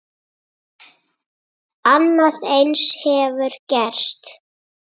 Annað eins hefur gerst.